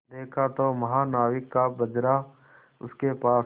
देखा तो महानाविक का बजरा उसके पास है